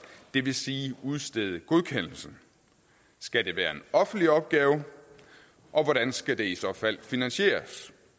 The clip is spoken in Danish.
det vil sige udstede godkendelsen skal det være en offentlig opgave og hvordan skal det i så fald finansieres